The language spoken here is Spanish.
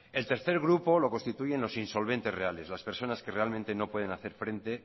el tercer grupo lo constituyen los insolventes reales las personas que realmente no pueden hacer frente